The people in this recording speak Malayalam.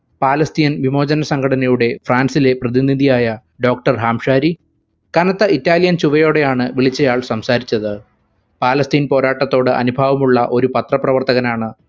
പാലസ്തീൻ വിമോചന സംഘടനയുടെ ഫ്രാൻസിലെ പ്രതിനിധിയായ doctor ഹാംശാരി കനത്ത ഇറ്റാലിയൻ ചുവയോടെയാണ് വിളിച്ചയാൾ സംസാരിച്ചത്. പാലസ്തീൻ പോരാട്ടത്തോട് അനുഭാവമുള്ള ഒരു പത്രപ്രവർത്തകനാണ്